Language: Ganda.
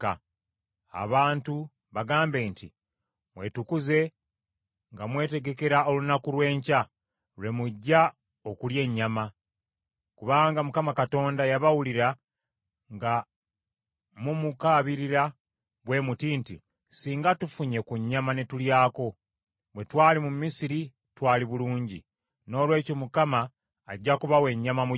“Abantu bagambe nti, ‘Mwetukuze nga mwetegekera olunaku lw’enkya, lwe mujja okulya ennyama. Kubanga Mukama Katonda yabawulira nga mumukaabirira bwe muti nti, “Singa tufunye ku nnyama ne tulyako! Bwe twali mu Misiri twali bulungi!” Noolwekyo Mukama ajja kubawa ennyama mugirye.